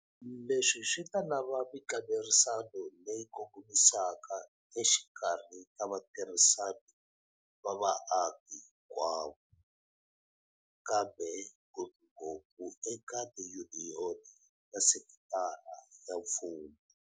Leswi swi ta lava mikanerisano leyi kongomisaka exikarhi ka vatirhisani va vaaki hinkwavo, kambe ngopfungopfu eka tiyuniyoni ta sekitara ya mfumo.